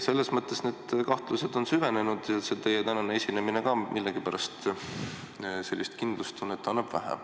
Need kahtlused on süvenenud ja ka teie tänane esinemine annab millegipärast sellist kindlustunnet vähe.